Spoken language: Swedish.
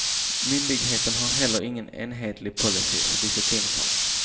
Myndigheten har heller ingen enhetlig policy för disciplinfallen.